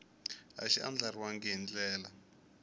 a xi andlariwangi hi ndlela